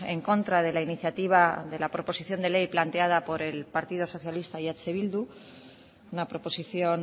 en contra de la iniciativa de la proposición de ley planteada por el partido socialista y eh bildu una proposición